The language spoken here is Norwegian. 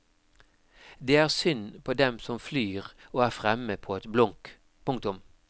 Det er synd på dem som flyr og er fremme på et blunk. punktum